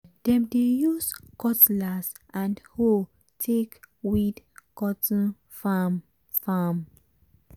dem dey use cutlass and hoe take weed cotton farm farm.